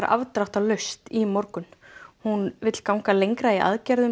afdráttarlaust í morgun hún vill ganga lengra í aðgerðum